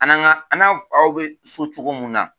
An n'an ga an n'an faw be so cogo mun na